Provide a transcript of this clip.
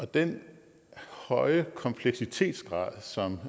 den høje kompleksitetsgrad som